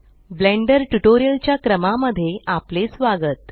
blender tutorial च्या क्रमा मध्ये आपले स्वागत